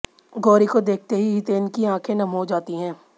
गौरी को देखते ही हितेन की आंखे नम हो जाती हैं